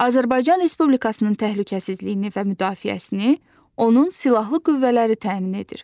Azərbaycan Respublikasının təhlükəsizliyini və müdafiəsini onun silahlı qüvvələri təmin edir.